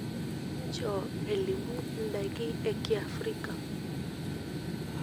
inchoo elimu indaki ee kiafrika